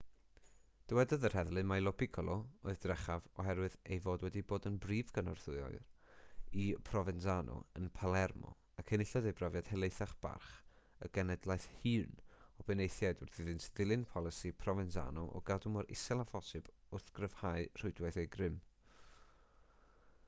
dywedodd yr heddlu mai lo piccolo oedd drechaf oherwydd ei fod wedi bod yn brif gynorthwywr i provenzano yn palermo ac enillodd ei brofiad helaethach barch y genhedlaeth hŷn o benaethiaid wrth iddynt ddilyn polisi provenzano o gadw mor isel â phosibl wrth gryfhau rhwydwaith eu grym